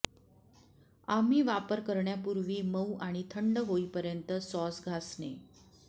आम्ही वापर करण्यापूर्वी मऊ आणि थंड होईपर्यंत सॉस घासणे